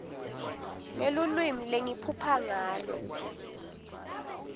ngelulwimi lengiphupha ngalo